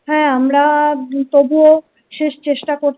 হ্যাঁ আমরা তবুও শেষ চেষ্টা কর।